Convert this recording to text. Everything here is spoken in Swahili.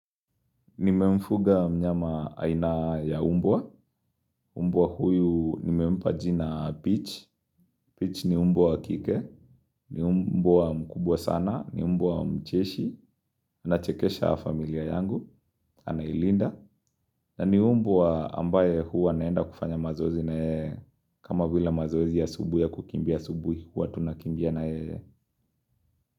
Nimemfuga mnyama aina ya mbwa, mbwa huyu nimempa jina peach, peach ni mbwa kike, ni mbwa mkubwa sana, ni mbwa mcheshi, anachekesha familia yangu, anailinda, na ni mbwa ambaye huwa naenda kufanya mazozi na yeye, kama vila mazoezi ya asubuhi ya kukimbia asubuhi, huwa tunakimbia na yeye.